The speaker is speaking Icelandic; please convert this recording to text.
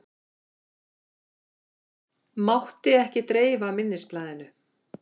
Mátti ekki dreifa minnisblaðinu